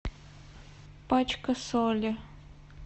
пачка соли